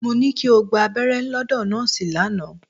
Mo ní kí o gba abẹ́rẹ́ lọ́dọ̀ nọ́ọ̀sì lánàá.